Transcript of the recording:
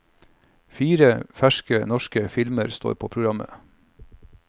Fire ferske norske filmer står på programmet.